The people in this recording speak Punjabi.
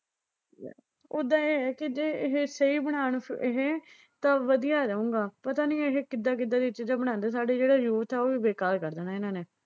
ਓਦਾਂ ਇਹ ਐ ਕਿ ਜੇ ਇਹ ਸਹੀ ਬਣਾਉਣ ਇਹ ਤਾਂ ਵਧੀਆ ਰਹੂਗਾ ਪਤਾ ਨਈਂ ਇਹ ਕਿੱਦਾਂ-ਕਿੱਦਾਂ ਦੀਆਂ ਚੀਜ਼ਾਂ ਬਨਾਉਂਦੇ ਆ। ਸਾਡਾ ਜਿਹੜਾ ਯੂਥ ਆ ਉਹ ਵੀ ਬੇਕਾਰ ਕਰ ਦੇਣਾ ਇਨ੍ਹਾਂ ਨੇ,